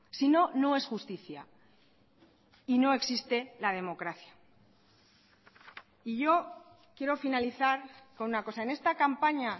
si no no es justicia y no existe la democracia y yo quiero finalizar con una cosa en esta campaña